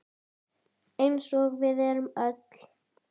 Eins og við erum öll.